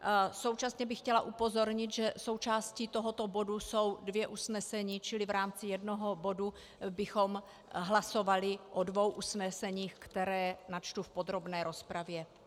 Současně bych chtěla upozornit, že součástí tohoto bodu jsou dvě usnesení, čili v rámci jednoho bodu bychom hlasovali o dvou usneseních, která načtu v podrobné rozpravě.